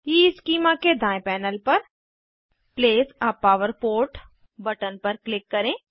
schema के दायें panel पर place a power port button पर क्लिक करें